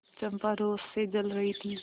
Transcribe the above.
चंपा रोष से जल रही थी